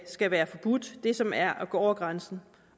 skal være forbudt det som er at gå over grænsen